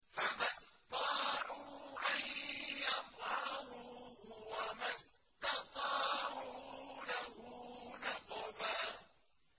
فَمَا اسْطَاعُوا أَن يَظْهَرُوهُ وَمَا اسْتَطَاعُوا لَهُ نَقْبًا